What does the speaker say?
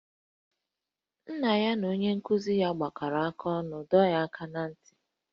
Nna ya na onye nkụzi ya gbakọrọ aka ọnụ dọọ ya aka ná ntị